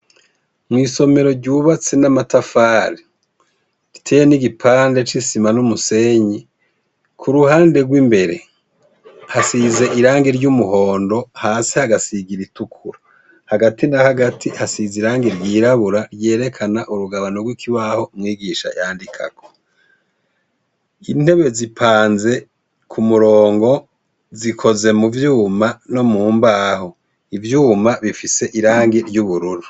Mw'isomero ryubatse n'amatafari, riteye n'igipande c'isima n'umusenyi, kuruhande rw'imbere hasize irangi ry'umuhondo, hasi hagasiga iritukura. Hagati na hagati hasize irangi ryirabura ryerekana urugabano gw'ikibaho umwigisha yandikako. Intebe zipanze kumurongo, zikoze muvyuma no mumbaho. Ivyuma bifise irangi ry'ubururu.